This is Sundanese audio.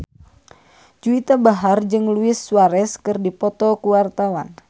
Juwita Bahar jeung Luis Suarez keur dipoto ku wartawan